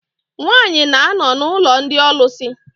Nwaanyị na-anọ n'ụlọ ndị ọlụsị.